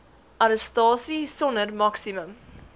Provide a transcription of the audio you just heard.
arrestasie sonder maksimum